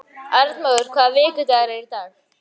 Arnmóður, hvaða vikudagur er í dag?